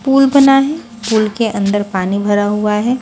Pool बना है pool के अंदर पानी भरा हुआ है।